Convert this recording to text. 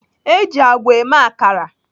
Eji àgwà eme akara.